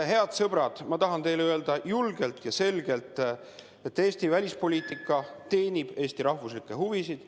Head sõbrad, ma tahan teile öelda julgelt ja selgelt, et Eesti välispoliitika teenib Eesti rahvuslikke huvisid.